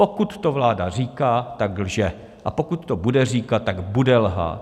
Pokud to vláda říká, tak lže, a pokud to bude říkat, tak bude lhát.